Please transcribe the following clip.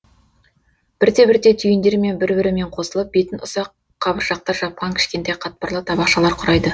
бірте бірте түйіндер бір бірімен қосылып бетін ұсақ қабыршақтар жапқан кішкентай қатпарлы табақшалар құрайды